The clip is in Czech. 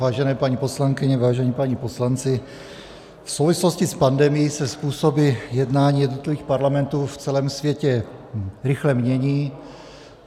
Vážené paní poslankyně, vážení páni poslanci, v souvislosti s pandemií se způsoby jednání jednotlivých parlamentů v celém světě rychle mění.